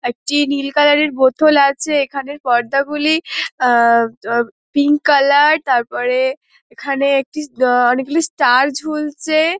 একটি নীল কালার - এর বোতল আছে এইখানে পর্দা গুলি আহ দদ পিঙ্ক কালার তারপরে এইখানে একটি অনেকগুলো ষ্টার ঝুলছে ।